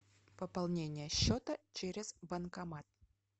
пополнение счета через банкомат